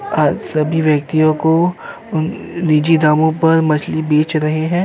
आज सभी व्यक्तियों को ईजी दामों पर बेच रहे हैं।